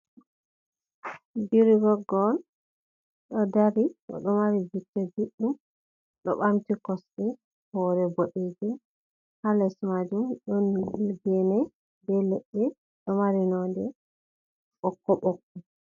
Birigoggo on, ɗo dari o ɗo mari bicco juuɗɗum ɗo ɓamti kosɗe, hoore boɗeejum, haa les maajum, ɗon geene bee leɗɗe ɗo mari nonnde ɓokko-ɓokko